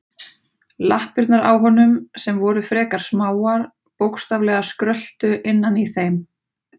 Lappirnar á honum, sem voru frekar smáar, bókstaflega skröltu innan í þeim.